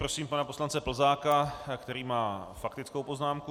Prosím pana poslance Plzáka, který má faktickou poznámku.